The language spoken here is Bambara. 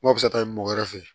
N'o bɛ se ka taa mɔgɔ wɛrɛ fɛ yen